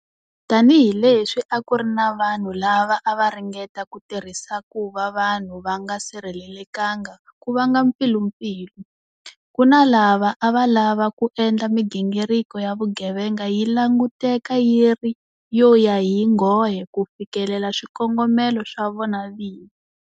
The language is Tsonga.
Tanihi leswi a ku ri na vanhu lava a va ringeta ku tirhisa ku va vanhu va nga sirhelelekanga ku vanga mpfilumpfilu, ku na lava a va lava ku endla migingiriko ya vugevega yi languteka yi ri yo ya hi nghohe ku fikelela swikongomelo swa vona vini.